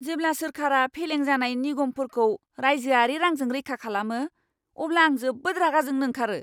जेब्ला सोरखारा फेलें जानाय निगमफोरखौ राइजोआरि रांजों रैखा खालामो, अब्ला आं जोबोद रागा जोंनो ओंखारो।